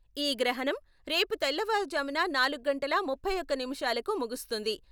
ఈ గ్రహణం రేపు తెల్ల వారు జామున నాలుగు గంటల ముప్పై ఒక్క నిముషాలకు ముగుస్తుంది.